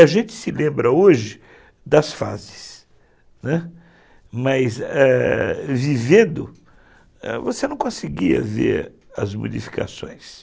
A gente se lembra hoje das fases, né, mas vivendo você não conseguia ver as modificações.